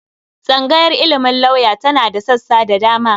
Tsangayar ilimin lauya tana da sassa da dama.